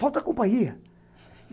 Falta companhia.